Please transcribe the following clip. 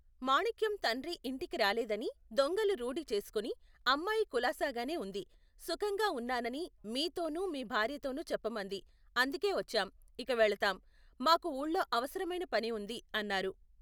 మాణిక్యం తండ్రి ఇంటికి రాలేదని, దొంగలు రూఢి చేసుకుని, అమ్మాయి కులాసాగానే వుంది, సుఖంగా ఉన్నానని, మీతోనూ, మీ భార్యతోనూ చెప్పమంది, అందుకేవచ్చాం, ఇక వెళతాం, మాకు ఊళ్ళో అవసరమైన పని ఉంది, అన్నారు.